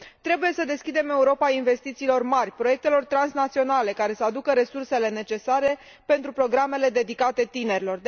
Trebuie să deschidem Europa investițiilor mari, proiectelor transnaționale, care să aducă resursele necesare pentru programele dedicate tinerilor.